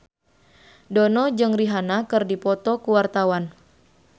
Dono jeung Rihanna keur dipoto ku wartawan